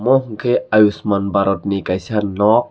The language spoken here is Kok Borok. ovo ke ayushman barot ni kaisa nok.